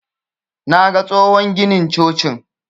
Naga tsohon ginin cocin.